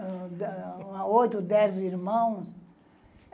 a oito, dez irmãos.